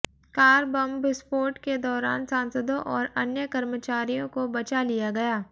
car bomb विस्फोट के दौरान सांसदों और अन्य कर्मचारियों को बचा लिया गया